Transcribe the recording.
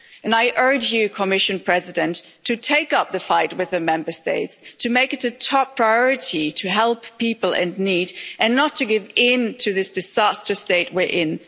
I urge you, Commission President, to take up the fight with the Member States, to make it a top priority to help people in need, and not to give in to this disastrous state we're in.